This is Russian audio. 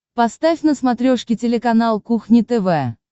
поставь на смотрешке телеканал кухня тв